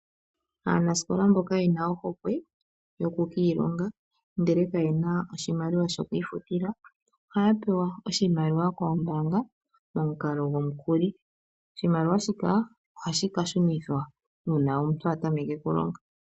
Aanasikola mboka yena ohokwe yokukiilonga ndele kaye na oshimaliwa shokwiifutila ohaya pewa oshimaliwa koombaanga momukalo gwomukuli. Oshimaliwa shika ohashi ka shunithwa uuna omuntu a tameke okulonga.